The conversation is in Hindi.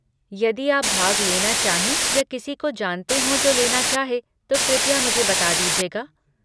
यदि आप भाग लेना चाहें या किसी को जानते हों जो लेना चाहे, तो कृपया मुझे बता दीजिएगा।